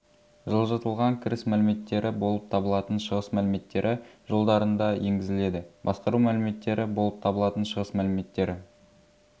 жылжытылған кіріс мәліметтері болып табылатын шығыс мәліметтері жолдарында енгізіледі басқару мәліметтері болып табылатын шығыс мәліметтері